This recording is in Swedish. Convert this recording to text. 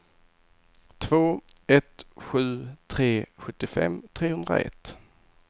två ett sju tre sjuttiofem trehundraett